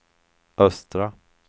östra